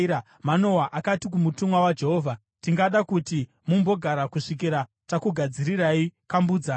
Manoa akati kumutumwa waJehovha, “Tingada kuti mumbogara kusvikira takugadzirirai kambudzana.”